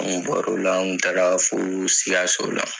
An bɔra o la an kun taa la fo sikaso.